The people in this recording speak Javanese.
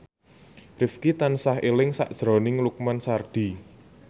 Rifqi tansah eling sakjroning Lukman Sardi